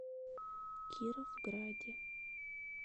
кировграде